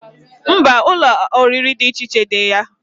Mba, Ụlọ oriri di iche iche di ya